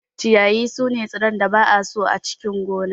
Ciyayi sune tsirran da ba'a so a cikin gona.